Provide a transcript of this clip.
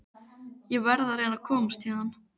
Ég verð að reyna að komast héðan.